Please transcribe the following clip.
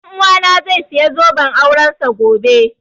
Ɗan uwana zai saya zoben aurensa gobe